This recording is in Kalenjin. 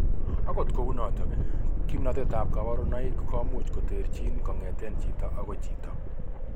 Agot kou notok, kimnotet ab kabarunoik komuch koterchin kong'etengei chito agoi chito